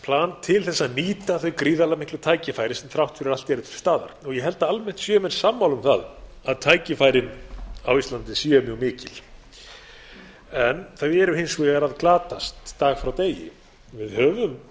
til þess að nýta þau gríðarlega miklu tækifæri sem þrátt fyrir allt eru til staðar og ég held að almennt séu menn sammála um að tækifærin á íslandi séu mjög mikil en þau eru hins vegar að glatast dag frá degi við höfum